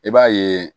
I b'a ye